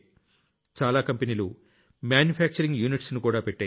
చాలా కంపెనీలు manufacturing units కూడా పెట్టాయి